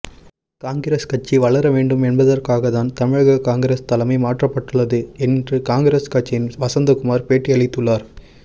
காங்கிரஸ் கட்சி வளர வேண்டும் என்பதற்காகத்தான் தமிழக காங்கிரஸ் தலைமை மாற்றப்பட்டுள்ளது என்று காங்கிரஸ் கட்சியின் வசந்தகுமார் பேட்டியளித்துள்ளார்